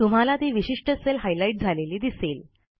तुम्हाला ती विशिष्ट सेल हायलाईट झालेली दिसेल